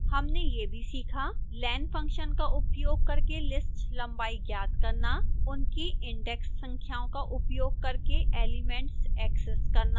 हमने यह भी सीखाः